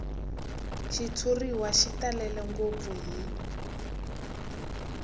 xitshuriwa xi talele ngopfu hi